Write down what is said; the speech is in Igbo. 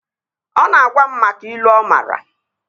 Ọ na-agwa m maka ilu ọ maara